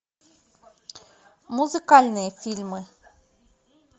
музыкальные фильмы